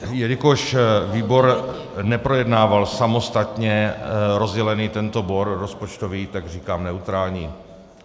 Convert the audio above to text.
Jelikož výbor neprojednával samostatně rozdělený tento bod rozpočtový, tak říkám neutrální.